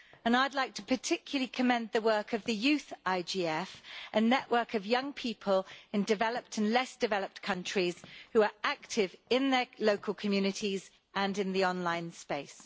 I'd like to particularly commend the work of the Youth IGF, a network of young people in developed and less-developed countries who are active in their local communities and in the online space.